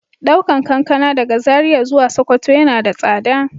Daukan kankana daga Zaria zuwa sokoto yana da tsada.